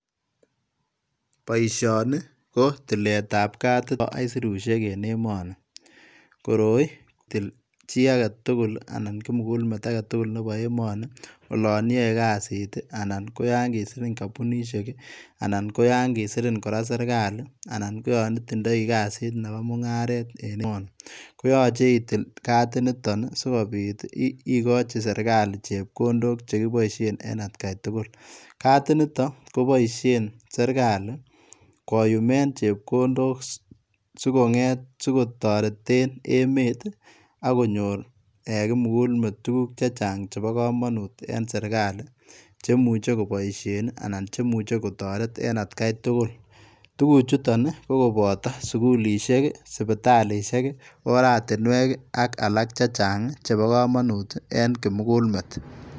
Boisioni ko tileet ab katit nebo aisirusiek en emanii koroi kotilee chii age tuguul ii anan kimugul met age tugul ii nebo emanii ii olaan yae kazit ii anan ko yaan kisiriin kampunisheek ii anan kora ko yaan kisiriin serikali anan ko olaan itindai kazit Nebo mungaret en emanii koyachei itil katit nitoon sikobiit ii igochi serikali chepkondook che kibaisheen en at gai tugul katit nitoon ii kobaisheen serikali koyuumeen chepkondook sikotareteen emet ii agonyoor kimugul met tuguuk chechaang chebo kamanut chemuchei kobaisheen ii anan kotareet en at gai tugul tuguchutoon ii ko kobataa sugulisheek ii kobataa sipitalishek ii ortinweek ii ak alaak chechaang chebo kamanut en kimugul met.